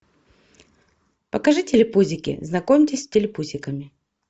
покажи телепузики знакомьтесь с телепузиками